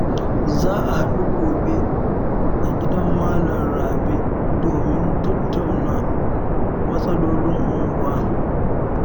Za a haɗu gobe a gidan Malam Rabe domin a tattauna matsalolin unguwa